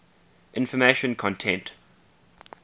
information content